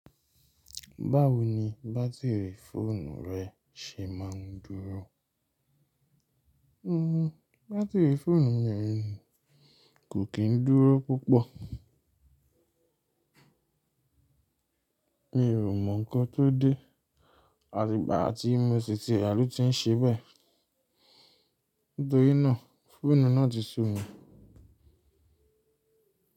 Báwo ni bátìrì fóònù rẹ ṣe máa ń dúró? Hmm, bátìrì fóònù mi kò kí ń dúró púpọ̀. Mi ò mọ̀ nǹkan tó dé àti ìgbà tí mo si ti raa lo tí ń ṣe bẹ́ẹ̀, nitori ná fóònù náà ti sú mi.